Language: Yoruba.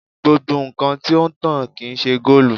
Gbogbo nkan ti o n tan kii ṣe goolu